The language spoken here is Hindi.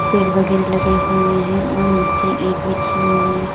पेड़ वगैरा लगे हुए हैं और नीचे ईट बिछी हुई--